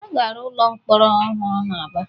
A ga-arụ ụlọ mkpọrọ ọhụrụ n'Aba.